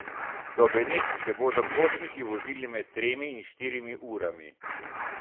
Do Benetk se bodo potniki vozili med tremi in štirimi urami.